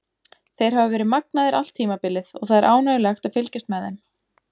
Þeir hafa verið magnaðir allt tímabilið og það er ánægjulegt að fylgjast með þeim.